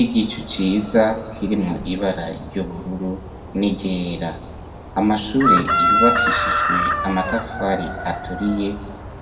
Igicu ciza kirimwo ibara ry'ubururu n'iryera, amashure yubakishijwe amatafari aturiye